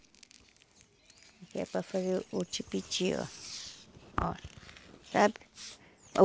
Que é para fazer o tipiti, ó. Ó. Sabe?